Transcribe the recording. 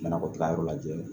Ɲɛnakɔ taa yɔrɔ lajɛ